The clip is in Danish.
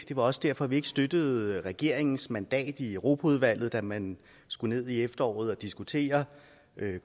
det var også derfor vi ikke støttede regeringens mandat i europaudvalget da man skulle ned i efteråret og diskutere